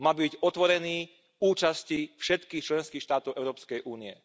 Mal by byť otvorený účasti všetkých členských štátov Európskej únie.